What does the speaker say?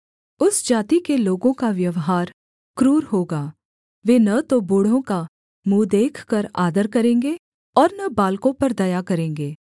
उस जाति के लोगों का व्यवहार क्रूर होगा वे न तो बूढ़ों का मुँह देखकर आदर करेंगे और न बालकों पर दया करेंगे